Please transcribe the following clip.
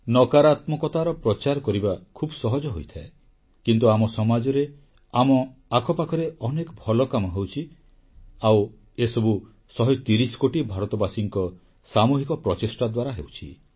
ନକାରାତ୍ମକତାର ପ୍ରଚାର କରିବା ଖୁବ୍ ସହଜ ହୋଇଥାଏ କିନ୍ତୁ ଆମ ସମାଜରେ ଆମ ଆଖପାଖରେ ଅନେକ ଭଲକାମ ହେଉଛି ଆଉ ଏସବୁ 130 କୋଟି ଭାରତବାସୀଙ୍କ ସାମୁହିକ ପ୍ରଚେଷ୍ଟା ଦ୍ୱାରା ହେଉଛି